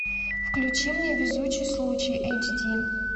включи мне везучий случай эйч ди